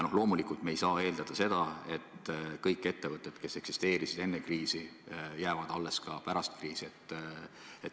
Loomulikult ei saa me eeldada, et kõik ettevõtted, kes eksisteerisid enne kriisi, jäävad alles ka pärast kriisi.